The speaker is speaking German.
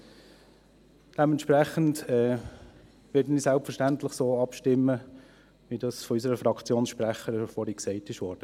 Dementsprechend werde ich selbstverständlich so abstimmen, wie dies von unserer Fraktionssprecherin vorhin gesagt wurde.